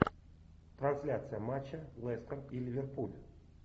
трансляция матча лестер и ливерпуль